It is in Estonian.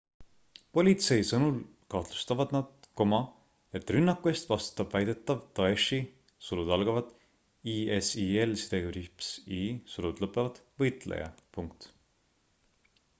politsei sõnul kahtlustavad nad et rünnaku eest vastutab väidetav daeshi isil-i võitleja